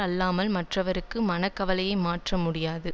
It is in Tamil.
அல்லாமல் மற்றவர்க்கு மனக்கவலையை மாற்ற முடியாது